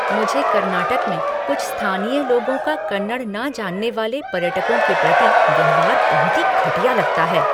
मुझे कर्नाटक में कुछ स्थानीय लोगों का कन्नड़ न जानने वाले पर्यटकों के प्रति व्यवहार बहुत ही घटिया लगता है।